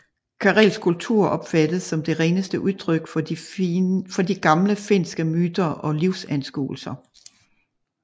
Karelsk kultur opfattes som det reneste udtryk for de gamle finske myter og livsanskuelser